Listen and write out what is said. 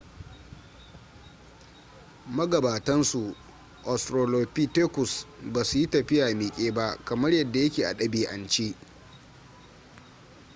magabatan su australopithecus ba su yi tafiya miƙe ba kamar yadda ya ke a ɗabi'ance